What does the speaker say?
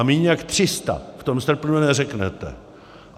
A míň jak 300 v tom srpnu neřeknete.